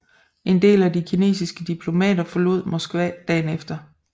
En del af de kinesiske diplomater forlod Moskva dagen efter